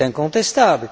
C'est incontestable.